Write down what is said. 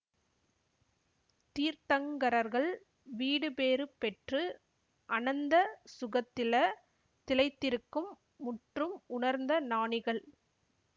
தீர்த்தங்கரர்கள் வீடுபேறு பெற்று அனந்த சுகத்தில திளைத்திருக்கும் முற்றும் உணர்ந்த ஞானிகள்